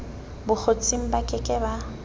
bokgotsing ba ke ke ba